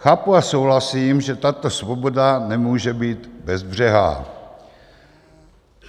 Chápu a souhlasím, že tato svoboda nemůže být bezbřehá.